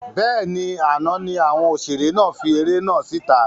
Bẹ́ẹ̀ni, àná ni àwọn òṣèré náà fi eré náà síta